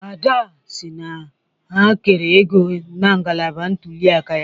Ada si na ha kere ego na ngalaba ntuli aka ya